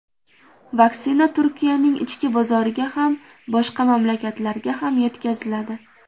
Vaksina Turkiyaning ichki bozoriga ham, boshqa mamlakatlarga ham yetkaziladi.